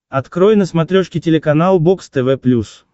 открой на смотрешке телеканал бокс тв плюс